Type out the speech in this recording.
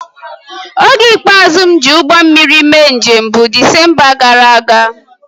Oge ikpeazụ m ji ụgbọ mmiri mee njem bụ Disemba gara aga